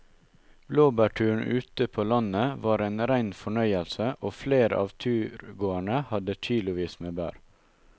Blåbærturen ute på landet var en rein fornøyelse og flere av turgåerene hadde kilosvis med bær.